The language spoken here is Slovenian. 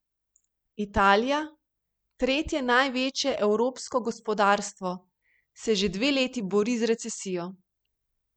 Italija, tretje največje evropsko gospodarstvo, se že dve leti bori z recesijo.